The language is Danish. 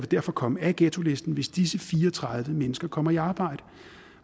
derfor komme af ghettolisten hvis disse fire og tredive mennesker kommer i arbejde